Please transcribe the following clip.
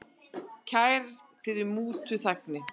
Kærð fyrir mútuþægni